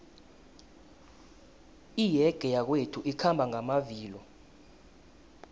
iyege yakwethu ikhamba ngamavilo